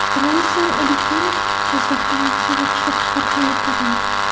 Roison Electronics Jizzaxda mahsulot ishlab chiqarishni yo‘lga qo‘yadi.